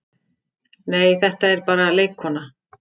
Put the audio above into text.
Nei, þetta er bara leikkona.